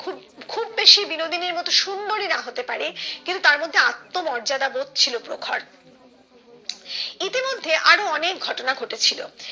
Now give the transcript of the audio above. বেশি বিনোদিনীর মতো সুন্দরী না হতে পারে কিন্তু তার মধ্যে আত্ম মর্যাদা বোধ ছিল প্রখর ইতি মধ্যে আরো অনেক ঘটনা ঘটে ছিল